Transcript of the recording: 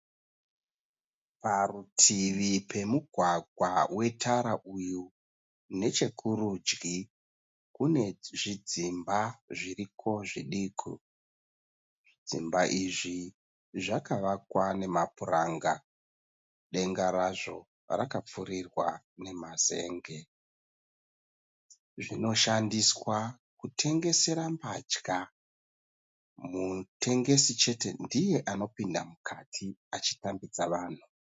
Parutivi pemugwagwa wetara uyu nechokurudyi kune zvidzimba zviriko zviduku. Zvidzimba izvi zvakavakwa namapuranga. Denga razvo rakapfurirwa nemazen'e. Zvinoshandiswa kutengesera mbatya. Mutengesi chete ndiye anopinda mukati achitambidza vanhu.